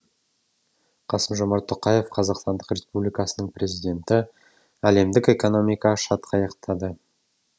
қасым жомарт тоқаев қазақстан республикасының президенті әлемдік экономика шатқаяқтады